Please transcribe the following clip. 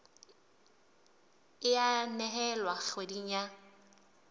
e a nehelwa kgweding ya